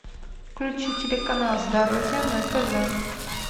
включи телеканал здоровье на тв